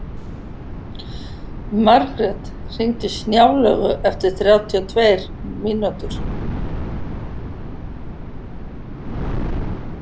Margrjet, hringdu í Snjálaugu eftir þrjátíu og tvær mínútur.